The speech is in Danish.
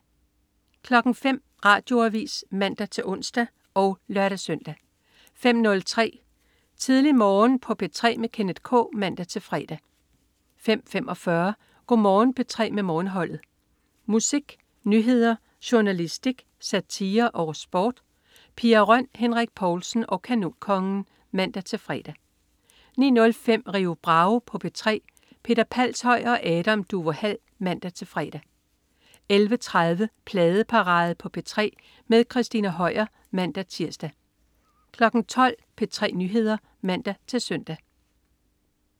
05.00 Radioavis (man-ons og lør-søn) 05.03 Tidlig Morgen på P3 med Kenneth K (man-fre) 05.45 Go' Morgen P3 med Morgenholdet. Musik, nyheder, journalistik, satire og sport. Pia Røn, Henrik Povlsen og Kanonkongen (man-fre) 09.05 Rio Bravo på P3. Peter Palshøj og Adam Duvå Hall (man-fre) 11.30 Pladeparade på P3 med Christina Høier (man-tirs) 12.00 P3 Nyheder (man-søn)